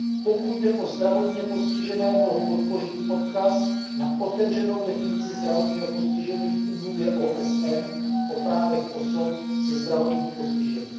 Pokud jde o zdravotně postižené, mohu podpořit odkaz na otevřenou definici zdravotního postižení v Úmluvě OSN o právech osob se zdravotním postižením.